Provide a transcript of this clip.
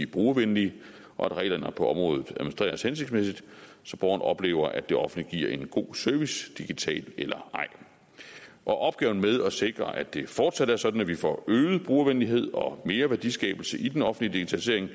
brugervenlige og at reglerne på området administreres hensigtsmæssigt så borgerne oplever at det offentlige giver en god service digitalt eller ej opgaven med at sikre at det fortsat er sådan at vi får øget brugervenlighed og mere værdiskabelse i den offentlige